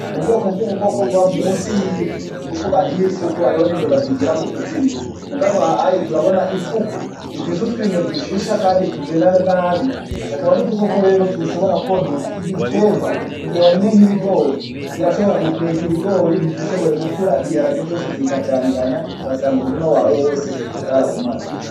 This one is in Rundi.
Mu bwoko bw'ubukoko buba musi y'ivu ni ukuvuga ariho ifuku ariho n'imbeba zigira mu kuzimu mugabo hayi turabona ifuku imfise utwinyo dushisha, kandi tubina nabi akaba ri udukoko rero tushobora kwonona ibiterwa mu gihe warimye nk'ibigori zirashobora gukwega ibigori ntizishobore gukura biharage vyose zikajaniranya ngasanga umurima wao awe wose zarabumazi.